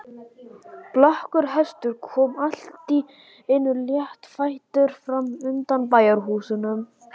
Blakkur hestur kom allt í einu léttfættur fram undan bæjarhúsunum.